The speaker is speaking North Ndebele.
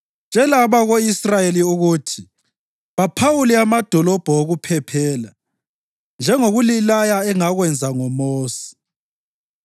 “Tshela abako-Israyeli ukuthi baphawule amadolobho okuphephela njengokulilaya engakwenza ngoMosi,